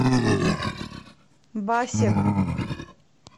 басег